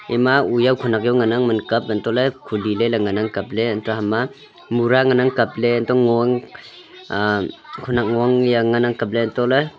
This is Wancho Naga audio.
ema uyaw khenak ngan ang man kap khuli ley ley ngan ang kap ley anto hema mura ngan ang kab ley anto ngo ang khenak ngo ang kap ley anto ley--